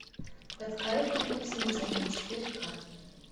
под кайфом и в смятении четыре к